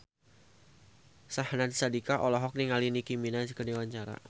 Syahnaz Sadiqah olohok ningali Nicky Minaj keur diwawancara